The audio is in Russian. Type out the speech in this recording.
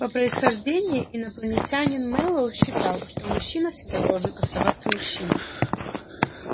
по происхождению инопланетянин мэллоу считал что мужчина всегда должен оставаться мужчиной